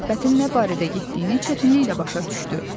söhbətin nə barədə getdiyini çətinliklə başa düşdü.